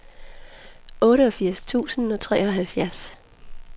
otteogfirs tusind og treoghalvfjerds